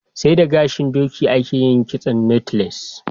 sai da gashin doki a ke yin kitson "knotless"